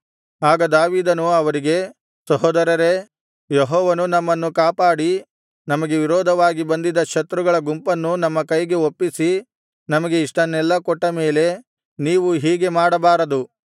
ಆಗ ದಾವೀದನು ಅವರಿಗೆ ಸಹೋದರರೇ ಯೆಹೋವನು ನಮ್ಮನ್ನು ಕಾಪಾಡಿ ನಮಗೆ ವಿರೋಧವಾಗಿ ಬಂದಿದ್ದ ಶತ್ರುಗಳ ಗುಂಪನ್ನು ನಮ್ಮ ಕೈಗೆ ಒಪ್ಪಿಸಿ ನಮಗೆ ಇಷ್ಟನ್ನೆಲ್ಲಾ ಕೊಟ್ಟ ಮೇಲೆ ನೀವು ಹೀಗೆ ಮಾಡಬಾರದು